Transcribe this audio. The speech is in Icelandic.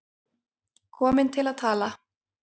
Komin til að tala.